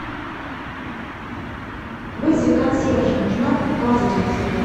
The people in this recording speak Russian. вызови консьержа нужна ваза для цветов